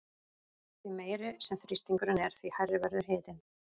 Því meiri sem þrýstingurinn er því hærri verður hitinn.